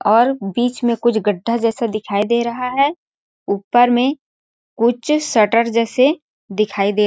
और बीच में कुछ गड्ढा जैसा दिखाई दे रहा है ऊपर में कुछ शटर जैसे दिखाई दे --